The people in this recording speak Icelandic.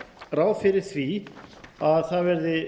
ráð fyrir því að það verði